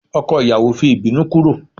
ọkọ ìyàwó fi ibinu kúrò